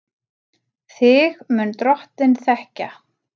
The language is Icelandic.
Þig mun Drottinn þekkja.